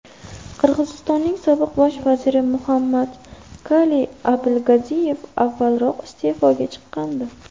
Qirg‘izistonning sobiq bosh vaziri Muhammadkaliy Abilgaziyev avvalroq iste’foga chiqqandi .